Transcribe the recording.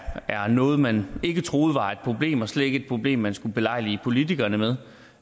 noget man ikke troede var et problem og slet ikke et problem man skulle ulejlige politikerne med